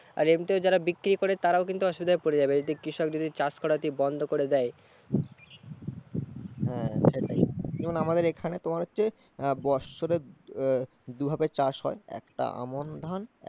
আর এমনিতেও যারা বিক্রি করে তারাও কিন্তু অসুবিধায় পড়ে যাবে এদিকে কৃষক যদি চাষ করা বন্ধ করে দেয়। হ্যাঁ সেটাই, আমাদের এখানে তোমার হচ্ছে বৎসরে দুভাবে চাষ হয়, একটা আমন ধান।